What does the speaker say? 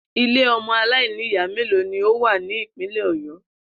Ilé o̩mo̩ aláìníyàá mélòó ni ó wà ní Ìpínlè̩ Ò̩yó̩?